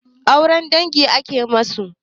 Auren dangi akayi masu?